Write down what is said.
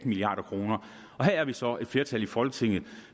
milliard kroner her er vi så et flertal i folketinget